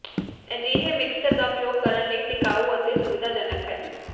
ਅਜਿਹੇ ਮਿਕਸਰ ਦਾ ਉਪਯੋਗ ਕਰਨ ਲਈ ਟਿਕਾਊ ਅਤੇ ਸੁਵਿਧਾਜਨਕ ਹੈ